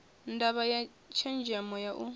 ndavha ya tshenzemo ya u